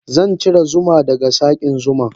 Zancire zuma daga sakin zuman.